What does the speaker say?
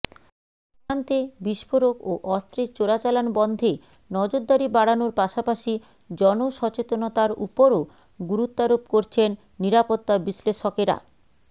সীমান্তে বিস্ফোরক ও অস্ত্রের চোরাচালান বন্ধে নজরদারি বাড়ানোর পাশাপাশি জনসচেতনতার ওপরও গুরুত্বারোপ করছেন নিরাপত্তা বিশ্লেষকেরা